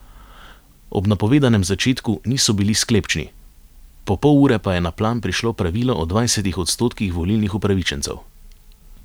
Ob napovedanem začetku niso bili sklepčni, po pol ure pa je na plan prišlo pravilo o dvajsetih odstotkih volilnih upravičencev.